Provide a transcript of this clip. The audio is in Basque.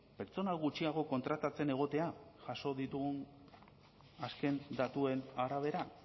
pertsona gutxiago kontratatzen egotea jaso ditugun azken datuen arabera